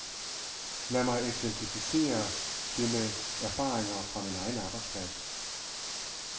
Lad mig eksemplificere det med erfaringer fra min egen arbejdsplads.